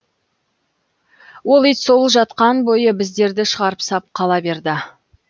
ол ит сол жатқан бойы біздерді шығарып сап қала берді